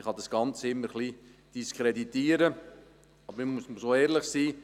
Man kann das Ganze immer diskreditieren, aber man muss ehrlich sein.